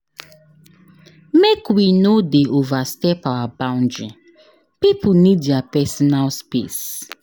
Make we no dey overstep our boundary pipo need their personal space.